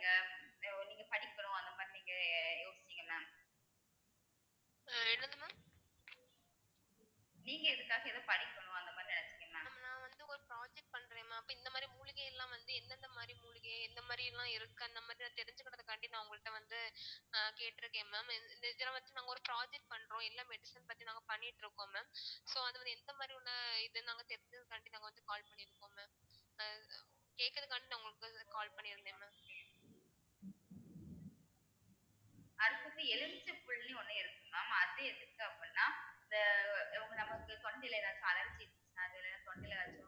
அடுத்தது எலுமிச்சை புள்ளின்னு ஒண்ணு இருக்கு mam அது எதுக்கு அப்படின்னா இந்த உ நமக்கு தொண்டையில ஏதாச்சும் allergy அஹ் அது தொண்டைல